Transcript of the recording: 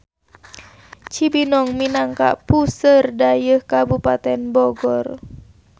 Cibinong minangka puseur dayeuh Kabupaten Bogor.